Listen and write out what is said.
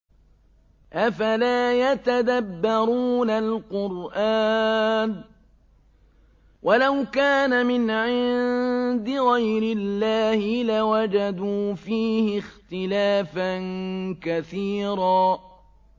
أَفَلَا يَتَدَبَّرُونَ الْقُرْآنَ ۚ وَلَوْ كَانَ مِنْ عِندِ غَيْرِ اللَّهِ لَوَجَدُوا فِيهِ اخْتِلَافًا كَثِيرًا